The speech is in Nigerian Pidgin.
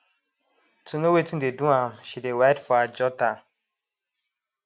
to know wetin dey do am she dey write for her jotter